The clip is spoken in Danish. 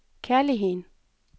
kærligheden